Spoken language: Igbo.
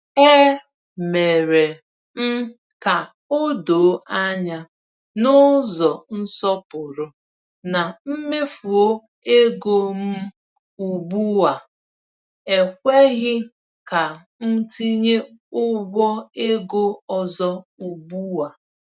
E mere m ka o doo anya n’ụzọ nsọpụrụ na mmefu ego m ugbu a ekweghi ka m tinye ụgwọ ego ọzọ ugbu a.